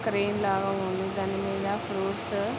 Train లాగా ఉంది. దాని మీద ఫ్రూప్ట్స్ --